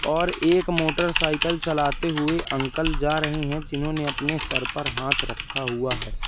और एक मोटरसाइकल चलाते हुए अंकल जा रहे हैं जिन्होंने अपने सर पर हाथ रखा हुआ है।